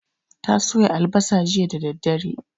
Ta soya albasa jiya da daddare